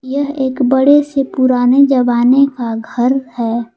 यह एक बड़ी सी पुराने जमाने का घर है।